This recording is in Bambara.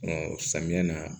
samiya na